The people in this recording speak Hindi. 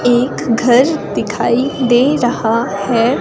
एक घर दिखाई दे रहा है।